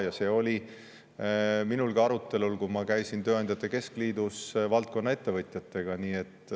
Ja see oli minul ka arutelul, kui ma käisin tööandjate keskliidus valdkonna ettevõtjatega.